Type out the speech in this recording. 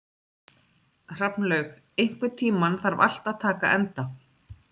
Hrafnlaug, einhvern tímann þarf allt að taka enda.